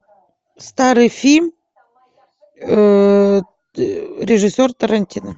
старый фильм режиссер тарантино